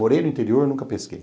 Morei no interior, nunca pesquei.